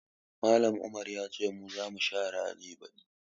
Mallam Umar ya ce mu za mu share aji baɗi